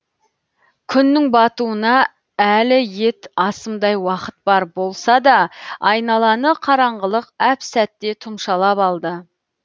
күннің батуына әлі ет асымдай уақыт бар болса да айналаны қараңғылық әп сәтте тұмшалап алды